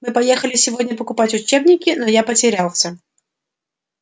мы поехали сегодня покупать учебники но я потерялся